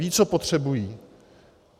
Vědí, co potřebují.